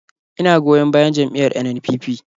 Ina goyon bayan jam’iyyar NNPP.